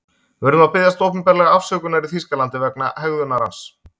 Við urðum að biðjast opinberlega afsökunar í Þýskalandi vegna hegðunar hans.